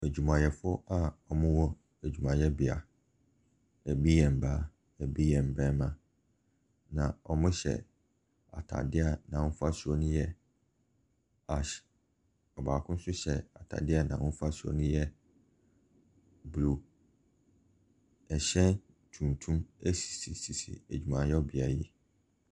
Adwumayɛfoɔ a wɔwɔ adwumayɛbea, ɛbi yɛ mmaa, ɛbi yɛ mmarima, na wɔhyɛ atadeɛ a n'ahofasuo no yɛ ash. Ɔbaako nso kyɛ atadeɛ a n'ahofasuo no yɛ blue. Ɛhyɛn tuntum sisi adwumayɛbea yi.